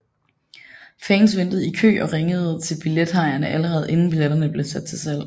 Fans ventede i kø og ringede til billethajerne allerede inden billetterne blev sat til salg